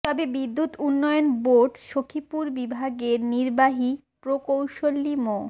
তবে বিদ্যুৎ উন্নয়ন বোর্ড সখিপুর বিভাগের নির্বাহী প্রকৌশলী মো